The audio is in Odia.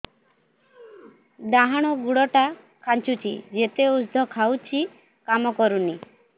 ଡାହାଣ ଗୁଡ଼ ଟା ଖାନ୍ଚୁଚି ଯେତେ ଉଷ୍ଧ ଖାଉଛି କାମ କରୁନି